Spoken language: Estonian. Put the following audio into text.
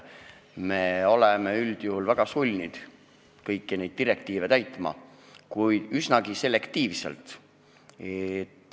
Me oleme üldjuhul väga sulnid kõiki direktiive täitma, kuid üsna selektiivselt.